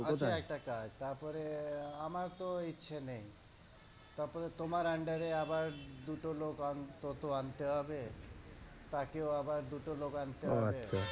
আছে একটা কাজ। তারপরে আহ আমার তো ঐ ইচ্ছে নেই। তারপরে তোমার under এ আবার দুটো লোক অন্তত আনতে হবে, তাকেও আবার দুটো লোক আনতে